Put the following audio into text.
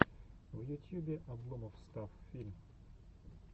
в ютьюбе обломофф стафф фильм